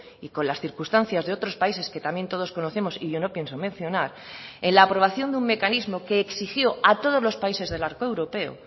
y con las circunstancias de otros países que también todos conocemos y yo no pienso mencionar en la aprobación de un mecanismo que exigió a todos los países del arco europeo